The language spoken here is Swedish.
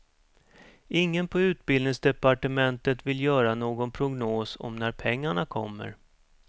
Ingen på utbildningsdepartementet vill göra någon prognos om när pengarna kommer.